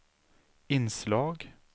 inslag